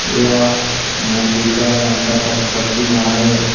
यह मां दुर्गा माता का प्रतिमा है।